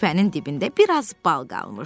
Küpənin dibində biraz bal qalmışdı.